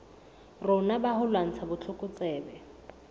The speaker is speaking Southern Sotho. rona ba ho lwantsha botlokotsebe